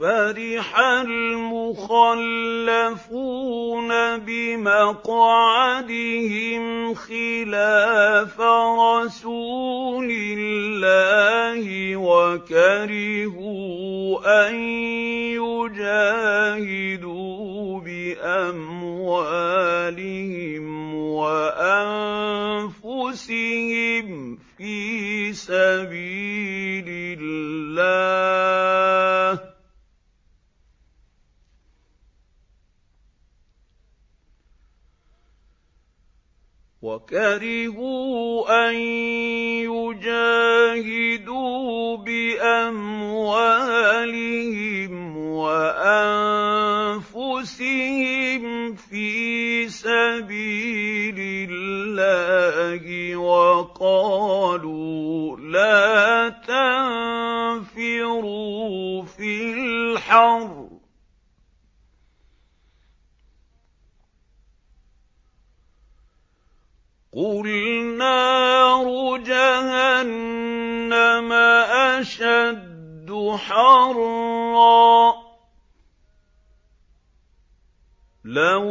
فَرِحَ الْمُخَلَّفُونَ بِمَقْعَدِهِمْ خِلَافَ رَسُولِ اللَّهِ وَكَرِهُوا أَن يُجَاهِدُوا بِأَمْوَالِهِمْ وَأَنفُسِهِمْ فِي سَبِيلِ اللَّهِ وَقَالُوا لَا تَنفِرُوا فِي الْحَرِّ ۗ قُلْ نَارُ جَهَنَّمَ أَشَدُّ حَرًّا ۚ لَّوْ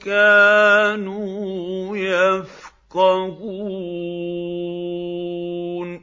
كَانُوا يَفْقَهُونَ